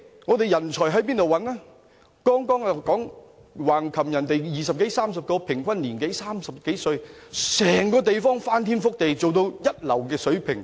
我剛才提到橫琴有二十多三十個規劃隊員，平均年齡30多歲，把整個地方翻天覆地，做到一流水平。